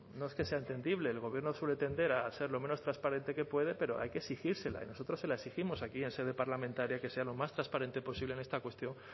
no es que sea entendibles el gobierno suele tender a ser lo menos transparente que puede pero hay que exigírsela y nosotros se la exigimos aquí en sede parlamentaria que sea lo más transparente posible en esta cuestión